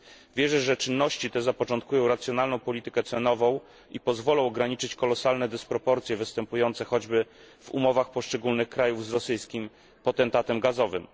Wierzę, że czynności te zapoczątkują racjonalną politykę cenową i pozwolą ograniczyć kolosalne dysproporcje występujące choćby w umowach poszczególnych krajów z rosyjskim potentatem gazowym.